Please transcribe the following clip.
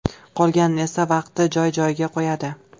Qolganini esa vaqt joy-joyiga qo‘yadi.